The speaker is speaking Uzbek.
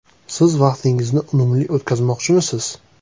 “Siz vaqtingizni unumli o‘tkazmoqchimisiz?